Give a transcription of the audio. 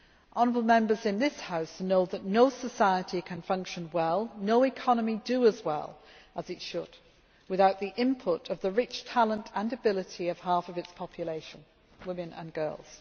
Honourable Members in this House know that no society can function well and no economy do as well as it should without the input of the rich talent and ability of half its population women and girls.